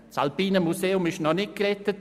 Das Alpine Museum ist noch nicht gerettet.